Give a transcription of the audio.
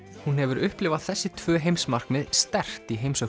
hún hefur upplifað þessi tvö heimsmarkmið sterkt í heimsókn